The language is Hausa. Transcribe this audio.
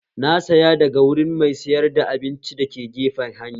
Na saya daga wurin mai sayar da abinci dake gefen hanya